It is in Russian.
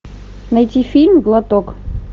найти фильм глоток